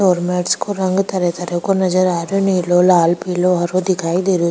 और मेट्स को रंग तरह तरह को नजर आ रेहो नीलो लाल पिलो हरो दिखाई दे रेहो।